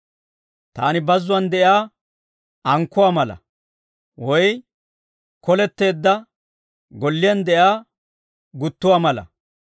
Taani bazzuwaan de'iyaa ankkuwaa mala, woy koleteedda golliyaan de'iyaa guttuwaa mala.